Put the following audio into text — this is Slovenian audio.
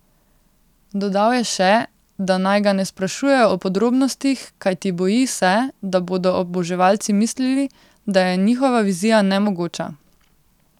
Dodal je še, da naj ga ne sprašujejo o podrobnostih, kajti boji se, da bodo oboževalci mislili, da je njihova vizija nemogoča.